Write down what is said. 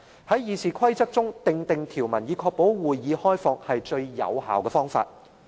在《議事規則》中訂定條文，以確保會議開放是最有效的方法。